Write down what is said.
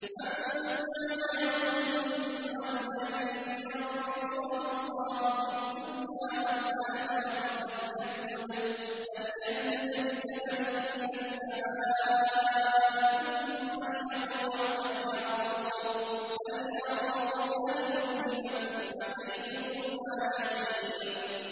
مَن كَانَ يَظُنُّ أَن لَّن يَنصُرَهُ اللَّهُ فِي الدُّنْيَا وَالْآخِرَةِ فَلْيَمْدُدْ بِسَبَبٍ إِلَى السَّمَاءِ ثُمَّ لْيَقْطَعْ فَلْيَنظُرْ هَلْ يُذْهِبَنَّ كَيْدُهُ مَا يَغِيظُ